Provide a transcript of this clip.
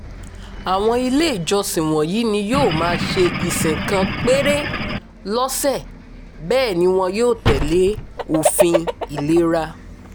àwọn ilé ìjọsìn wọ̀nyí ni yóò máa ṣe ìsìn kan péré lọ́sẹ̀ bẹ́ẹ̀ ni wọn yóò tẹ̀lé òfin ìlera